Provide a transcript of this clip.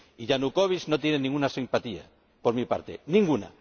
Yanukóvich no tiene ninguna simpatía por mi parte, ninguna.